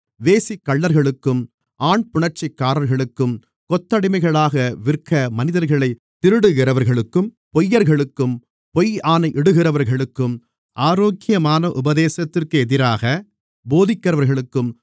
வேசிக்கள்ளர்களுக்கும் ஆண்புணர்ச்சிக்காரர்களுக்கும் கொத்தடிமைகளாக விற்க மனிதர்களைத் திருடுகிறவர்களுக்கும் பொய்யர்களுக்கும் பொய்யாணை இடுகிறவர்களுக்கும் ஆரோக்கியமான உபதேசத்திற்கு எதிராக போதிக்கிறவர்களுக்கும்